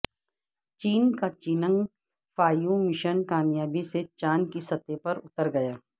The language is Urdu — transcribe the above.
چین کا چینگ فائیو مشن کامیابی سے چاند کی سطح پر اتر گیا